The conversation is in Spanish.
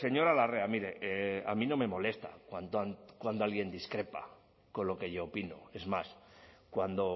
señora larrea mire a mí no me molesta cuando alguien discrepa con lo que yo opino es más cuando